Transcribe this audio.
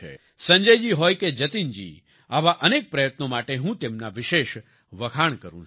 સંજય જી હોય કે જતીન જી આવા અનેક પ્રયત્નો માટે હું તેમના વિશેષ વખાણ કરું છું